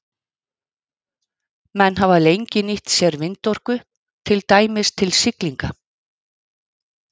Menn hafa lengi nýtt sér vindorku, til dæmis til siglinga.